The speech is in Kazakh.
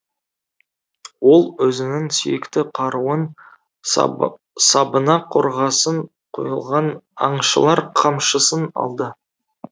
ол өзінің сүйікті қаруын сабы сабына қорғасын құйылған аңшылар қамшысын алды